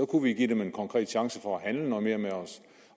kunne give dem en konkret chance for at handle noget mere med os